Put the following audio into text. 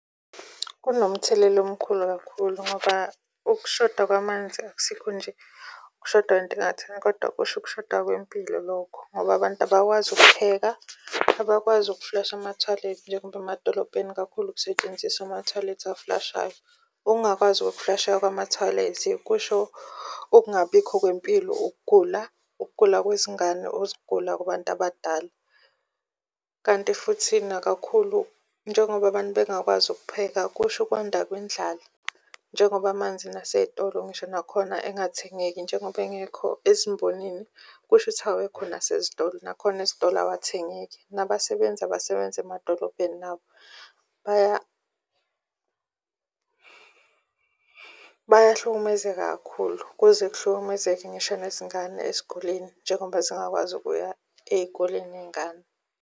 Kunomthelela omkhulu kakhulu ngoba ukushoda kwamanzi akusikho nje okushodayo kodwa kushoda kwempilo lokho ngoba abantu abakwazi ukupheka, abakwazi ukuflasha emathoyilethi njengoba emadolobheni kakhulu ukusetshenziswa amathoyilethi aflashayo. Ukungakwazi ukuflasheka kwama-toilet kusho ukungabibikho kwempilo. Ukugula ukugula kwezingane uzogula kubantu abadala, kanti futhi nakakhulu, njengoba abantu bangakwazi ukupheka, kusho ukwanda indlala. Njengoba manzi nasey'tolo ngisho nakhona engathengeki njengoba engekho ezimbonini, kusho ukuthi awekho nasezitolo, nakhona esitolo awathengeki. Nabasebenzi emadolobheni nabo bayahlukumezeka kakhulu kuze kuhlukumezeke ngisho nezingane esikoleni njengoba zingakwazi ukuya ey'koleni iy'ngane.